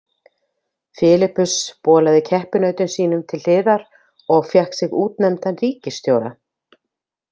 Filippus bolaði keppinautum sínum til hliðar og fékk sig útnefndan ríkisstjóra.